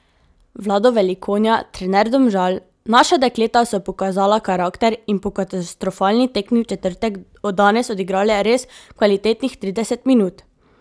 Vlado Velikonja, trener Domžal: 'Naša dekleta so pokazala karakter in po katastrofalni tekmi v četrtek danes odigrale res kvalitetnih trideset minut.